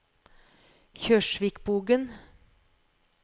Kjørsvikbugen